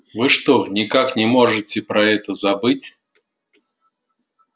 вы что никак не можете про это забыть